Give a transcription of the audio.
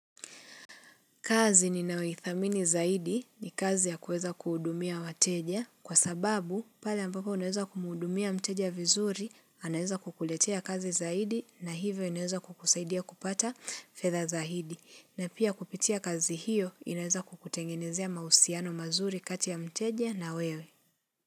Kazi ninayo ithamini zaidi ni kazi ya kuweza kuhudumia wateja kwa sababu pale ambapo unaweza kumhudumia mteja vizuri anaeza kukuletea kazi zaidi na hivyo inaweza kukusaidia kupata fedha zaidi. Na pia kupitia kazi hiyo inaeza kukutengenezea mahusiano mazuri kati ya mteja na wewe.